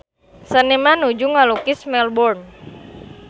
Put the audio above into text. Seniman nuju ngalukis Melbourne